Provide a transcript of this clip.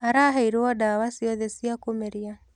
Araheirwo ndawa ciothe cia kũmeria.